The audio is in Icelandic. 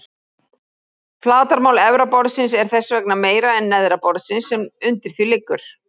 Flatarmál efra borðsins er þess vegna meira en neðra borðsins sem undir því liggur.